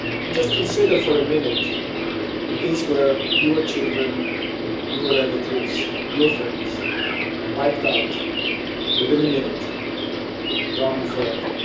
Just consider for a minute if these were your children, your relatives, your friends, wiped out, within a minute gone forever.